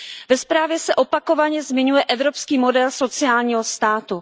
Ve zprávě se opakovaně zmiňuje evropský model sociálního státu.